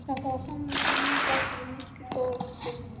Þetta var sannarlega nýr flötur á myrkri fortíð minni.